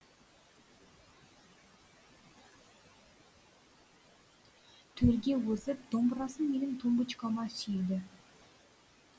төрге озып домбырасын менің тумбочкама сүйеді